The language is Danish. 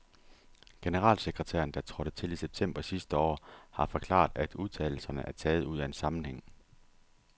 Generalsekretæren, der trådte til i september sidste år, har forklaret, at udtalelserne er taget ud af en sammenhæng.